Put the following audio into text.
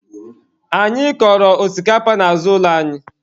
Anyị kọrọ osikapa n'azụ ụlọ anyị